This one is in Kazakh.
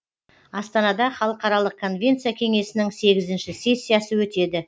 астанада халықаралық конвенция кеңесінің сегізінші сессиясы өтеді